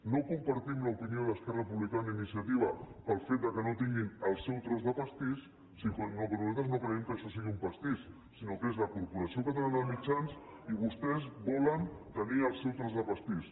no compartim l’opinió d’esquerra republicana i iniciativa pel fet que no tinguin el seu tros de pastís nosaltres no creiem que això sigui un pastís sinó que és la corporació catalana de mitjans i vostès volen tenir el seu tros de pastís